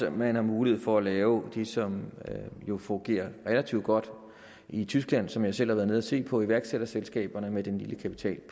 at man har mulighed for at lave det som jo fungerer relativt godt i tyskland og som jeg selv har været nede at se på nemlig iværksætterselskaberne med den lille kapital i